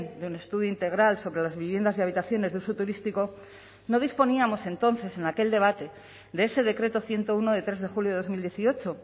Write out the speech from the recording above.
de un estudio integral sobre las viviendas y habitaciones de uso turístico no disponíamos entonces en aquel debate de ese decreto ciento uno de tres de julio de dos mil dieciocho